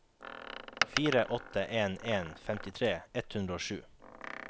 fire åtte en en femtitre ett hundre og sju